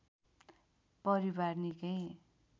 परिवार निकै